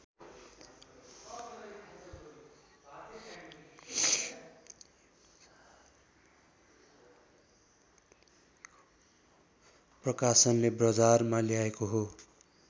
प्रकाशनले बजारमा ल्याएको हो